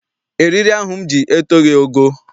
Eriri ahụ m ji etoghi ogo.